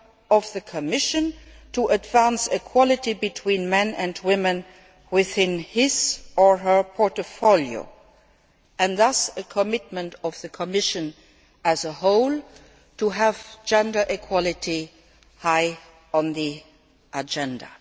of the Commission to advance equality between men and women within his or her portfolio and thus, a commitment by the Commission as a whole to have gender equality high on the agenda.